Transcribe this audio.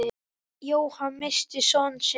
Jóhann missti son sinn.